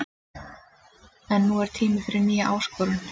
En nú er tími fyrir nýja áskorun.